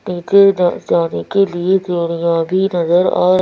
नीचे जा जाने के लिए सीढ़ियाँ भी नजर आ--